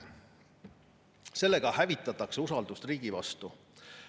Sellega hävitatakse usaldust riigi vastu.